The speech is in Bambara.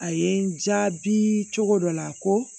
A ye n jaabi cogo dɔ la ko